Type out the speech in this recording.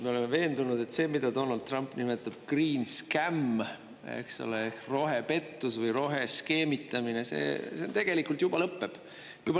Me oleme veendunud, et see, mida Donald Trump nimetab "green scam" – eks ole, rohepettus või roheskeemitamine –, see tegelikult juba lõpeb.